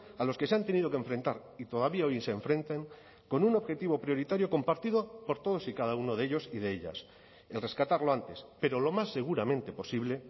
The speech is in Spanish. a los que se han tenido que enfrentar y todavía hoy se enfrentan con un objetivo prioritario compartido por todos y cada uno de ellos y de ellas el rescatar lo antes pero lo más seguramente posible